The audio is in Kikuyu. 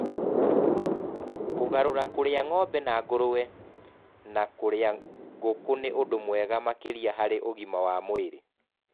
Kũgarũra kũrĩa ng'ombe na nguruwe na kũrĩa ngũkũ nĩ ũndũ mwega makĩria harĩ ũgima wa mwĩrĩ.